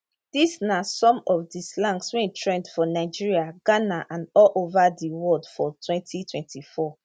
dis na some of di slangs wey trend for nigeria ghana and all ova di world for 2024